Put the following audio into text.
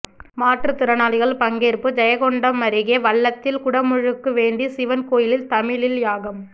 மாற்றுத்திறனாளிகள் பங்கேற்பு ஜெயங்கொண்டம் அருகே வல்லத்தில் குடமுழுக்கு வேண்டி சிவன் கோயிலில் தமிழில் யாகம்